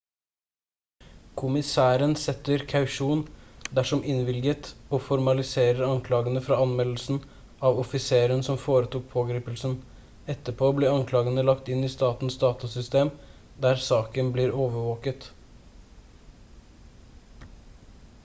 kommissæren setter kausjon dersom innvilget og formaliserer anklagene fra anmeldelsen av offiseren som foretok pågripelsen etterpå blir anklagene lagt inn i statens datasystem der saken blir overvåket